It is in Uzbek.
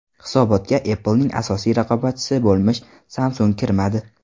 Hisobotga Apple’ning asosiy raqobatchisi bo‘lmish Samsung kirmadi.